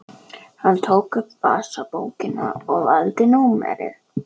Hann tók upp vasabókina og valdi númerið.